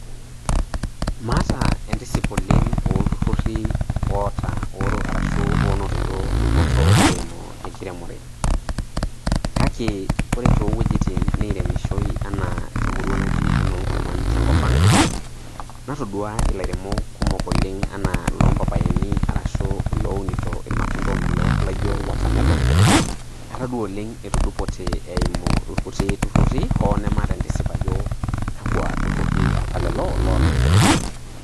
Maata entisipa oleng ooltururi oonotito dupoto eeimu enkiremore kake ore toowujitin nairemishoi enaa temurua naji enoongurman tenkopang natoduoa ilairemok kumok oleng lompapaini arashuu ilounito irmatunda oomelook ashuu ilaijio water melon atodua etudupote eeimu irkuti tururi hoo nemaata entisipa ajo kwakwa tururi apa lelo loolairemok.